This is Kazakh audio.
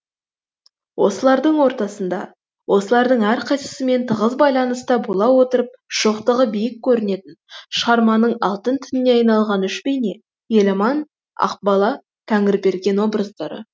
осылардың ортасында осылардың әрқайсысымен тығыз байланыста бола отырып шоқтығы биік көрінетін шығарманың алтын тініне айналған үш бейне еламан ақбала тәңірберген образдары